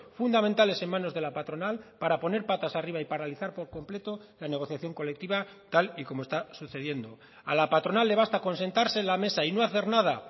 fundamentales en manos de la patronal para poner patas arriba y paralizar por completo la negociación colectiva tal y como está sucediendo a la patronal le basta con sentarse en la mesa y no hacer nada